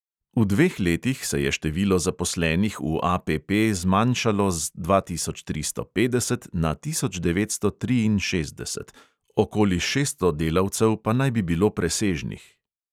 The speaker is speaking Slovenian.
V dveh letih se je število zaposlenih v APP zmanjšalo z dva tisoč tristo petdeset na tisoč devetsto triinšestdeset, okoli šeststo delavcev pa naj bi bilo presežnih.